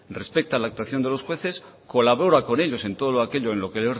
respeta la actuación de los jueces colabora con ellos en todo lo aquello en lo que